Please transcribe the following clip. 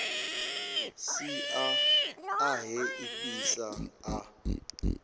sia a he ifhasi a